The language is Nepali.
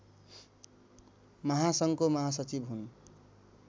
महासङ्घको महासचिव हुन्